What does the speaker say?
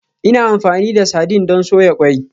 Ina amfani da sardine don soya ƙwai.